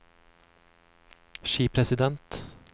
skipresident